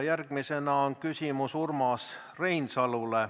Järgmine küsimus on Urmas Reinsalule.